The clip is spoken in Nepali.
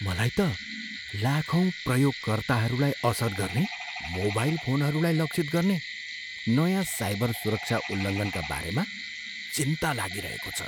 मलाई त लाखौँ प्रयोगकर्ताहरूलाई असर गर्ने मोबाइल फोनहरूलाई लक्षित गर्ने नयाँ साइबर सुरक्षा उल्लङ्घनका बारेमा चिन्ता लागिरहेको छ।